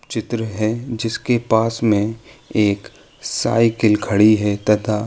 चित्र है जिसके पास में एक साईकिल खड़ी है तथा --